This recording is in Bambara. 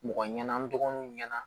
Mɔgɔ ɲɛna n dɔgɔninw ɲɛna